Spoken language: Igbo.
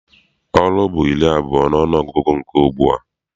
Oru bụ iri abụọ n'ọnụgụgụ nke ugbua.